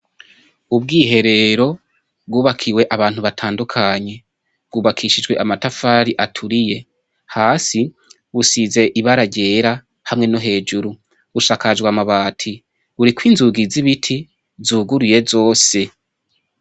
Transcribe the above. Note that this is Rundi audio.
Ubwiherero bwubakiwe abantu batandukanye, bwubakishijwe amatafari aturiye, hasi busize ibara ryera hamwe no hejuru, bushakajwe amabati, buriko inzungi z'ibiti zuguruye zose.